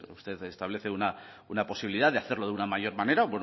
usted establece una posibilidad de hacerlo de una mayor manera